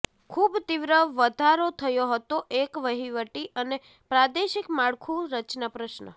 ખૂબ તીવ્ર વધારો થયો હતો એક વહીવટી અને પ્રાદેશિક માળખું રચના પ્રશ્ન